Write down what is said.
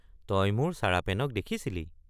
তই মোৰ চাৰাপেনক দেখিছিলি?